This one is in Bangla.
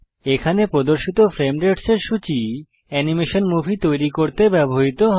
এখানে প্রদর্শিত ফ্রেম রেটস এর সূচী অ্যানিমেশন মুভি তৈরীর সময় ব্যবহৃত হয়